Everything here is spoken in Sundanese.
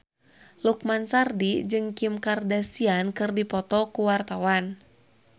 Lukman Sardi jeung Kim Kardashian keur dipoto ku wartawan